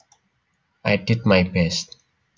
I did my best